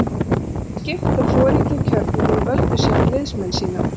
Liði var skipt og foringjar kjörnir og þeir völdu síðan liðsmenn sína.